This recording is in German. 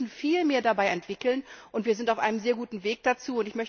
Wir müssen viel mehr entwickeln, und wir sind auf einem sehr guten Weg dazu.